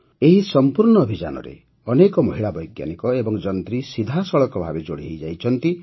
ଏହି ସମ୍ପୂର୍ଣ୍ଣ ଅଭିଯାନରେ ଅନେକ ମହିଳା ବୈଜ୍ଞାନିକ ଏବଂ ଯନ୍ତ୍ରୀ ସିଧାସଳଖ ଭାବେ ଯୋଡ଼ି ହୋଇ ରହିଛନ୍ତି